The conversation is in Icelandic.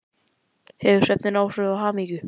Hefur svefn áhrif á hamingju?